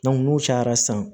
n'u cayara san